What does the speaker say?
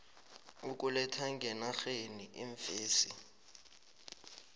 ukuletha ngenarheni iimfesi